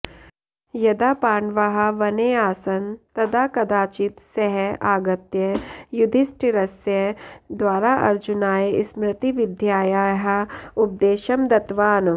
यदा पाण्डवाः वने आसन् तदा कदाचित् सः आगत्य युधिष्ठिरस्य द्वारा अर्जुनाय स्मृतिविद्यायाः उपदेशं दत्तवान्